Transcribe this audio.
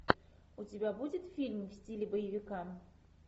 у тебя будет фильм в стиле боевика